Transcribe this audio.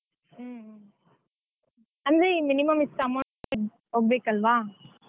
ಹ್ಮ್ ಅಂದ್ರೆ minimum ಇಷ್ಟು amount ಹೋಗ್ಬೇಕಲ್ವ.